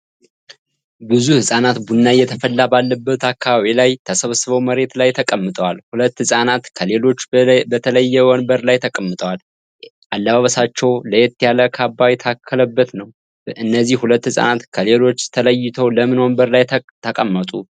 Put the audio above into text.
ብዙ ህጻናት ቡና እየተፈላ ባለበት አካባቢ ላይ ተሰብስበው መሬት ላይ ተቀምጠዋል። ሁለት ህጻናት ከሌሎቹ በተለየ ወንበር ላይ ተቀምጠዋል ሌአለባበሳቸውም ለየት ያለ ካባ የታከለበት ነው። እነዚህ ሁለት ህጻናት ከሊሎቹ ተለይተው ለምን ወንበር ላይ ተቀመጡ?